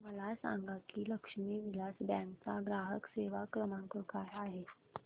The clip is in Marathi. मला सांगा की लक्ष्मी विलास बँक चा ग्राहक सेवा क्रमांक काय आहे